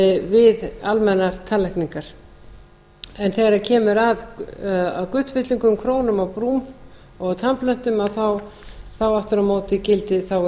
við almennar tannlækninga þegar kemur að gullfyllingum krónum og brúm og tannplöntum þá aftur á móti gildi um